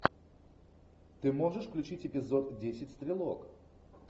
ты можешь включить эпизод десять стрелок